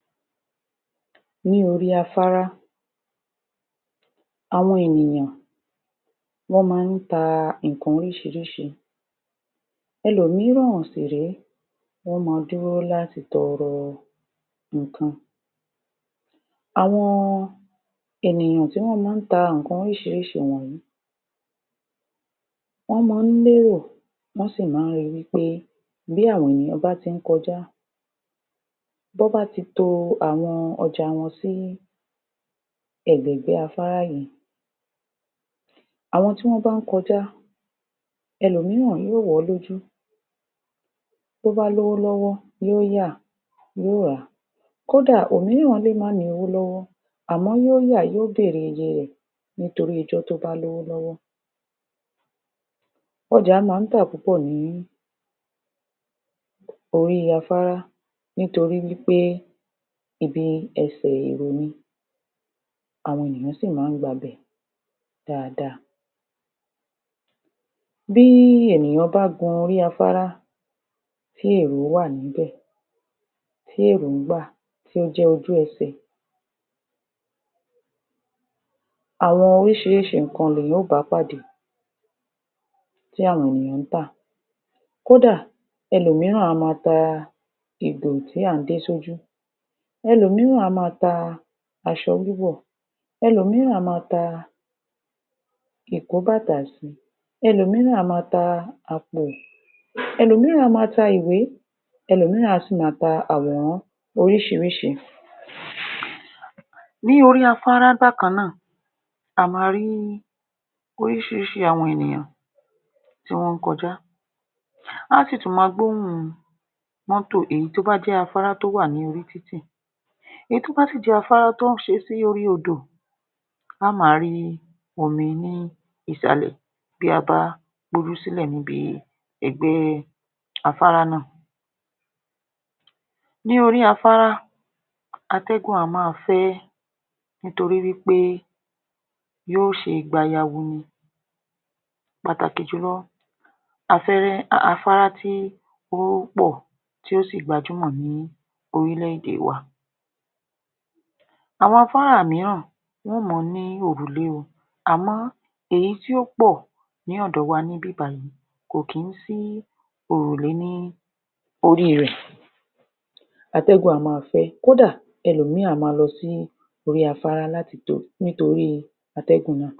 Ní orí afárá àwọn ènìyàn wọ́n má ta ìkan orísírísí ẹ̀lòmíràn sì ré ẹ̀lòmíràn sì ré wọ́n ma dúró láti toro ìkan àwọn ènìyàn tó má ta ìkan orísírísí woǹyí wọ́n mọ́n lé èrò, wọ́n sì má ri wi ́ pé bí àwọn ènìyàn bá ti kojáí àwọn ènìyàn bá ti kojá bí àwọn ènìyàn bá ti kojá tí wọ́n bá ti to àwọn ọjà wọn sí ẹ̀gbẹ̀gbẹ́ afárá yíì àwọn tí wọ́n bá kojá ẹ̀lòmíràn yóò wò ó lójú tó bá lówó lọ́wọ́ yóò yà yó rà kódà òmíràn lè má ní owó lówó àmọ́ yóò yà yóò bèrè iye rè torí ọjọ́ tó bá lówó lọ́wọ́ Ọjà má tà púpọ̀ ní ní orí afárá, nítorí wí pé ibi- ẹsẹ̀ èrò ni, àwọn ènìyàn sì má gba ibẹ̀ dáadáa bí ènìyàn bá gun orí afárá ,tí èrò wà níbẹ̀ tí èrò gbà tí ó jẹ́ ojú -ẹsẹ̀ Àwọn orísírísí ìkan ni ènìyàn yóò bá pàdé tí àwọn ènìyan tà kódà ẹ̀lòmíràn a ma ta a ìgò tí à dé sójú ẹ̀lòmíràn a ma ta asọ wíwọ̀ ẹ̀lòmíràn a ma ta a ìkó bàtà sí ẹ̀lòmíràn a ma ta a àpò ẹ̀lòmíràn a ma ta ìwé ẹ̀lòmíràn a ma ta àwòrán orísírísí? Ní orí afárá bákanná a ma rí orísírísí àwọn ènìyàn tí wọ́n kojá, á sì tún ma gbóhùn mótò èyí tó bá jé afárá tó wà ní orí títv mótò èyí tó bá jé afárá tó wà ní orí títì èyí tó bá sì jẹ́ afárá tí wọ́n ṣe sórí odò a ma rí omi ní ìsàlẹ̀ tí a bá gbójú sílẹ̀ ní bi ẹ̀gbẹ́ afárá nà. Ní orí afárá atẹ́gùn a ma fẹ́ ẹ́ nítorí wí pé yóò ṣe gbayawu ni pàtàkì jùlo afẹ́rẹ́ afárá tí ó pọ̀ tó sì gbajúmọ̀ ní orílè-èdè wa Àwọn afárá míràn wọn mọn ní òrùlé o àmọ́ èyí tí ó pọ̀ ní òdò wa níbí bayíì kò kì í sí òrùlé ní órí rẹ̀ atẹ́gùn a ma fẹ́ kódà ẹlòmíì a ma lọ sí órí afárá láti nítorí atẹ́gùn náà.